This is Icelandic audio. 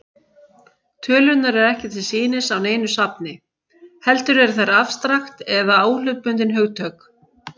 Tölurnar eru ekki til sýnis á neinu safni, heldur eru þær afstrakt eða óhlutbundin hugtök.